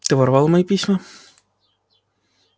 ты воровал мои письма